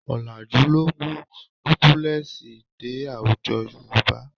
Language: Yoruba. Ọ̀làjú ló mú dúbúlẹ́ẹ̀sì dé àwùjọ Yorùbá